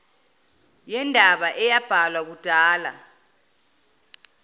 yendaba eyabhalwa kudala